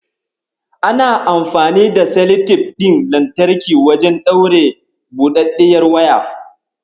Ana amfani da seletip ɗin lantarki wajen ɗaure buɗaɗɗiyar waya.